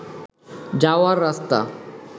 যাওয়ার রাস্তা